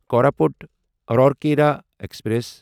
Koraput Rourkela express